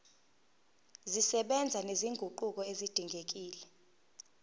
zisebenza nezinguquko ezidingekile